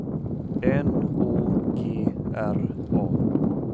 N Å G R A